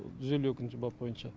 жүз елу екінші бап бойынша